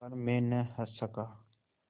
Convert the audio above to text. पर मैं न हँस सका